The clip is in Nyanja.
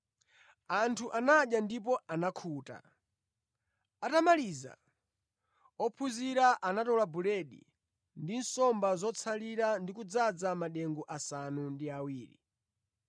Anthu anadya ndipo anakhuta. Atamaliza, ophunzira anatola buledi ndi nsomba zotsalira ndi kudzaza madengu asanu ndi awiri.